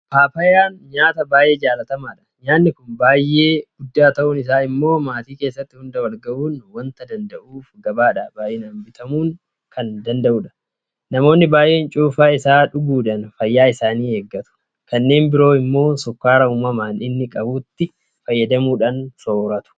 Paappaayyaan nyaata baay'ee jaalatamaadha. Nyaanni kun baay'ee guddaa ta'uun isaa immoo maatii keessatti hunda walgahuu waanta danda'uuf gabaadhaa baay'inaan bitamuu kan danda'udha. Namoonni baay'een Cuunfaa isaa nyaachuudhaan fayyaa isaanii eeggatu. Kanneen biroo immoo sukkaara uumamaan inni qabutti fayyadamuudhaan soorratu.